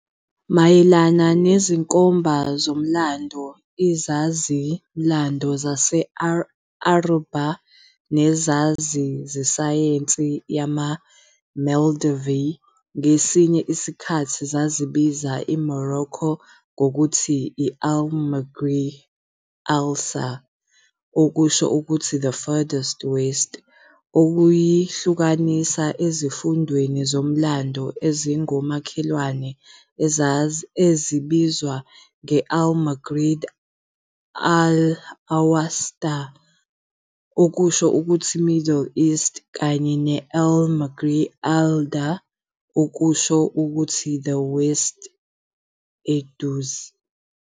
Mayelana nezinkomba zomlando, izazi-mlando zama-Arabhu nezazi zesayensi yama-medieval ngesinye isikhathi zazibiza iMorocco ngokuthi i-al-Maghrib al-Aqṣá, okusho ukuthi "The Farthest West, ukuyihlukanisa ezifundeni zomlando ezingomakhelwane ezibizwa nge-al-Maghrib al-Awsaṭ, okusho ukuthi "Middle West, kanye ne-al-Maghrib al-Adná, okusho ukuthi "The West Eduze,.